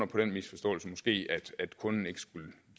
på den misforståelse at kunden ikke skulle give